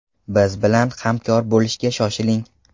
Biz bilan hamkor bo‘lishga shoshiling!